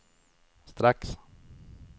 strax